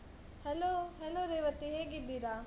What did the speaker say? Hello, hello Revathi, ಹೇಗಿದ್ದೀರಾ?